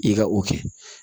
I ka o kɛ